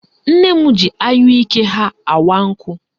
Nne m ji anyụike ha awa nkụ